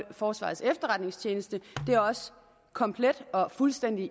forsvarets efterretningstjeneste det er også komplet